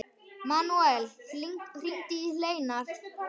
Manuel, hringdu í Hleinar.